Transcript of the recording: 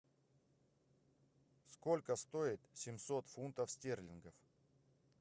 сколько стоит семьсот фунтов стерлингов